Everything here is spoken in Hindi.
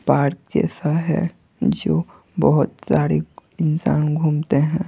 पार्क जैसा है जो बहुत सारे इंसान घूमते हैं।